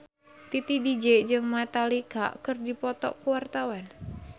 Titi DJ jeung Metallica keur dipoto ku wartawan